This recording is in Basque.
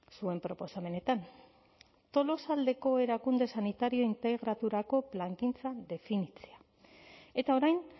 zuen proposamenetan tolosaldeko erakunde sanitario integraturako plangintza definitzea eta orain